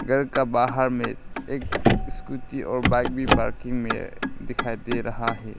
घर का बाहर में एक स्कूटी और बाइक भी पार्किंग में दिखाई दे रहा है।